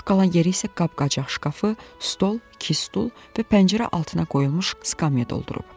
Boş qalan yeri isə qab-qacaq şkafı, stol, iki stul və pəncərə altına qoyulmuş skamya doldurub.